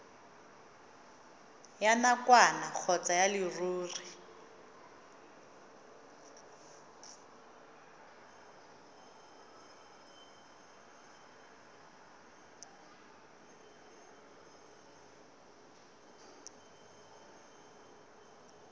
ya nakwana kgotsa ya leruri